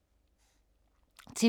TV 2